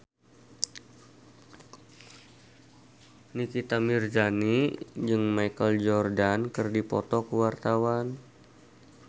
Nikita Mirzani jeung Michael Jordan keur dipoto ku wartawan